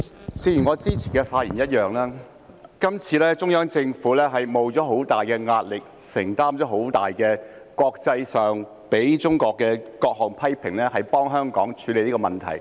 主席，正如我之前的發言一樣，今次中央政府承受着很大壓力，承擔國際上對中國的各種猛烈批評，替香港處理這個問題。